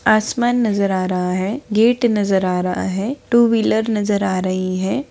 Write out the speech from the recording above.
आसमान नजर आ रहा है गेट नजर आ रहा है टू व्हीलर नजर आ रही है।